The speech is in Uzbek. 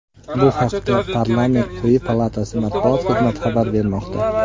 Bu haqda parlament quyi palatasi matbuot xizmati xabar bermoqda .